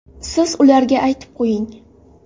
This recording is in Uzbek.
Siz ularga aytib qo‘ying.